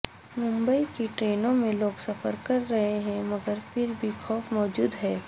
ممبئی کی ٹرینوں میں لوگ سفر کر رہے ہیں مگر پھر بھی خوف موجود ہے